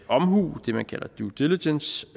omhu det man kalder due diligence